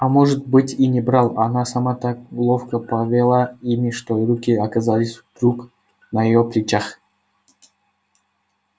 а может быть и не брал а она сама так ловко повела ими что руки оказались вдруг на её плечах